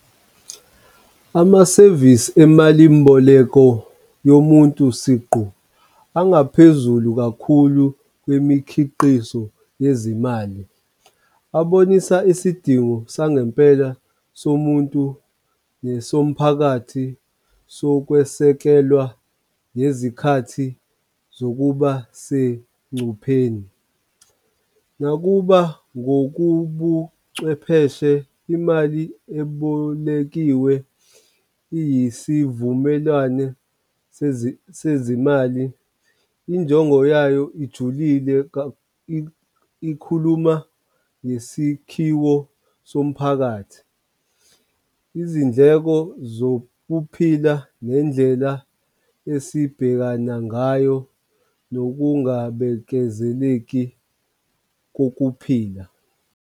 Amasevisi emalimboleko omuntu siqu, angaphezulu kakhulu kwemikhiqizo yezimali. Abonisa isidingo sangempela somuntu nesomphakathi sokwesekelwa ngezikhathi zokuba sengcupheni. Nakuba ngokubuchwepheshe imali ebolekiwe iyisivumelwane sezimali, injongo yayo ijulile ikhuluma ngesikhiwo somphakathi. Izindleko zokuphila ngendlela esibhekana ngayo nokungabekezeleki kokuphila.